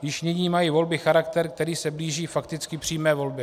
Již nyní mají volby charakter, který se blíží fakticky přímé volbě.